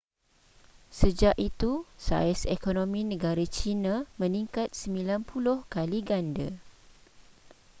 sejak itu saiz ekonomi negara china meningkat 90 kali ganda